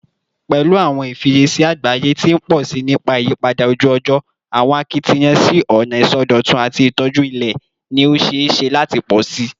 Pẹlu awọn ifiyesi agbaye ti n pọ si nipa iyipada oju-ọjọ, awọn akitiyan si ọna isọdọtun ati itoju ilẹ ni o ṣee ṣe lati pọ si